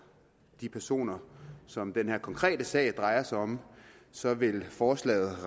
de personer som den her konkrete sag drejer sig om så vil forslaget